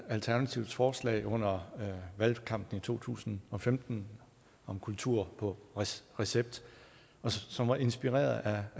alternativets forslag under valgkampen i to tusind og femten om kultur på recept recept som var inspireret af